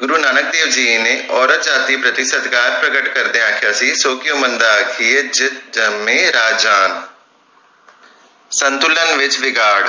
ਗੁਰੂ ਨਾਨਕ ਦੇਵ ਜੀ ਨੇ ਔਰਤ ਜਾਤਿ ਪ੍ਰਤੀ ਸਤਿਕਾਰ ਪ੍ਰਕਟ ਕਰਦਿਆਂ ਆਖਿਆ ਸੀ ਸੌ ਕਿਓਂ ਮੰਦਾ ਆਖੀਏ ਜਿੱਤ ਜੰਮੇ ਰਾਜਾਨ ਸੰਤੁਲਨ ਵਿਚ ਵਿਗਾੜ